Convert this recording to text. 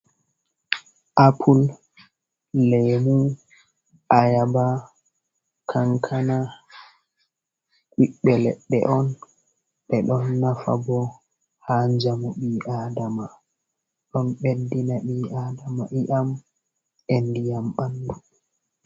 Apul, lemu, ayaba, kankana. Ɓiɓɓe leɗɗe on. Ɓe ɗon nafa ɓo ha jamu ɓi aɗama. Ɗon ɓeɗɗina ɓi aɗama iam e ɗiyam ɓanɗu.